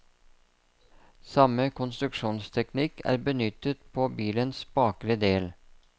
Samme konstruksjonsteknikk er benyttet på bilens bakre del.